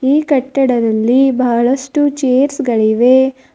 ಈ ಕಟ್ಟಡದಲ್ಲಿ ಬಹಳಷ್ಟು ಚೇರ್ಸ್ ಗಳಿವೆ.